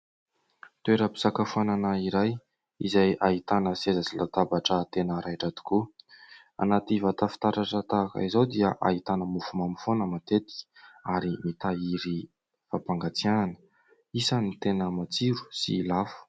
Toeram-pisakafoanana iray izay ahitana seza sy latabatra tena raitra tokoa. Anaty vata fitaratra tahaka izao dia ahitana mofomamy foana matetika ary mitahiry fampangatsiahana. Isany tena matsiro sy lafo.